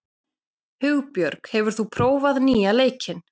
Hugbjörg, hefur þú prófað nýja leikinn?